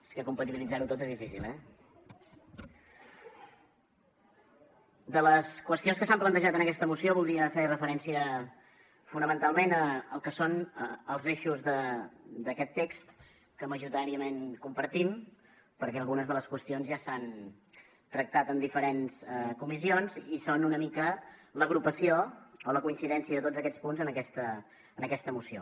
és que compatibilitzar ho tot és difícil eh de les qüestions que s’han plantejat en aquesta moció voldria fer referència fonamentalment al que són els eixos d’aquest text que majoritàriament compartim perquè algunes de les qüestions ja s’han tractat en diferents comissions i són una mica l’agrupació o la coincidència de tots aquests punts en aquesta moció